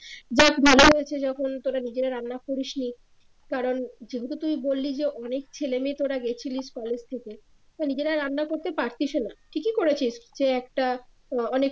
যাক ভালো হয়েছে যখন তোমরা নিজেরা রান্না করিসনি কারন যেহেতু তুই বলল যে অনেক ছেলেমেয়া তোরা গেছিলিস কলেজ থেকে তো নিজেরাই রান্না করতে পারতিসও না ঠিকই করেছিস যে একটা আহ অনেক